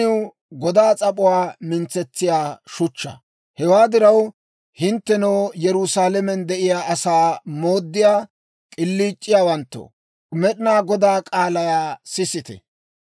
Hewaa diraw, hinttenoo, Yerusaalamen de'iyaa asaa mooddiyaa k'iliic'iyaawanttoo, Med'inaa Godaa k'aalaa sisite.